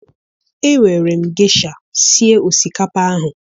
Ewere m gesha sie osikapa ahụ